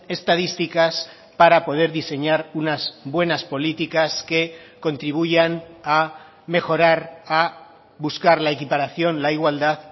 estadísticas para poder diseñar unas buenas políticas que contribuyan a mejorar a buscar la equiparación la igualdad